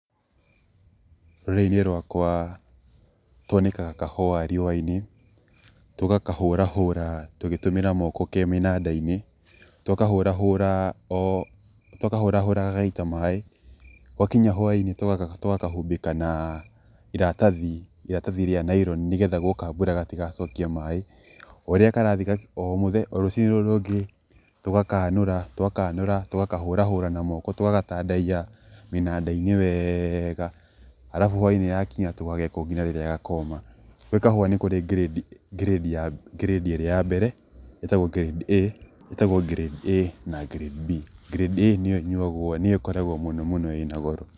Rũrĩrĩ-inĩ rwakwa nĩ twanĩkaga kahũa riũa-inĩ tũgakahũrahũra tũgĩtũmĩra moko ke mĩnanda-inĩ twakahũrahũra oo twakahũrahũra gagaita maĩ gwakinya hwa-inĩ tũgakahumbĩka na iratathi rĩa naironi nĩgetha gwoka mbura gatigacokie maĩ, ũrĩa karathiĩ, o mũthanya, o rũciinĩ rũrũ rũngĩ tũgakanũra, twakanũra tũgakahũrahũra n moko tũgagatandaiya mĩnanda-inĩ weeega arabu hwa-inĩ tũgageka ũguo nginya rĩrĩa gakoma, gwĩ kahũa nĩ kũrĩ grade , grade ĩrĩa ya mbere ĩtagwo grade A ĩtagwo grade A na grade B, grade A nĩyo ĩnyuagwo, nĩyo ĩkoragwo mũno mũno ĩna goro